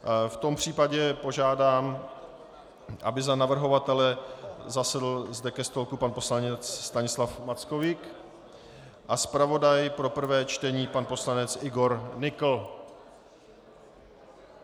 V tom případě požádám, aby za navrhovatele zasedl zde ke stolku pan poslanec Stanislav Mackovík a zpravodaj pro prvé čtení pan poslanec Igor Nykl.